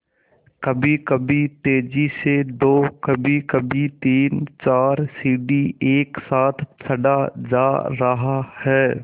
कभीकभी तेज़ी से दो कभीकभी तीनचार सीढ़ी एक साथ चढ़ा जा रहा है